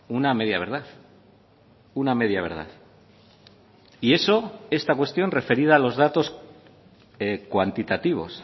una media verdad una media verdad y eso esta cuestión referida a los datos cuantitativos